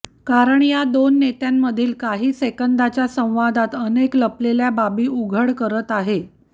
कारण या दोन नेत्यांमधील काही सेकंदाच्या संवादात अनेक लपलेल्या बाबी उघड करत आहे